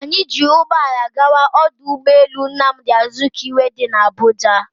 Anyị ji ụgbọala gawa ọdụ ụgbọ elu Nnamdi Azikiwe dị na Abuja